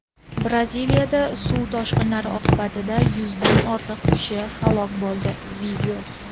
Braziliyada suv toshqinlari oqibatida yuzdan ortiq kishi halok bo‘ldi.